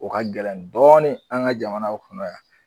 O ka gɛlɛn dɔɔnin an ka jamanaw kɔnɔ yan